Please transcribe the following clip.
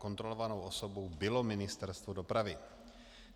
Kontrolovanou osobou bylo Ministerstvo dopravy.